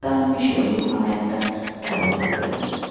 আমি সেরকম নাহয় একটা ব্যবস্থা করে নিবো